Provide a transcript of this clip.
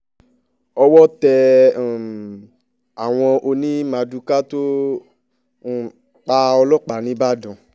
owó tẹ um àwọn ọ̀nì mardukà tó um pa ọlọ́pàá nìbàdàn